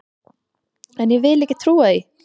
En ég vil ekki trúa því!